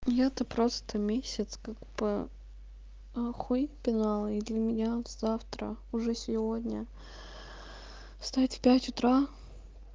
я-то просто месяц как бы аа хуи пенал и для меня завтра уже сегодня встать в пть утра